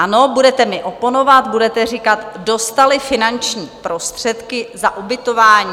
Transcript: Ano, budete mi oponovat, budete říkat, dostali finanční prostředky za ubytování.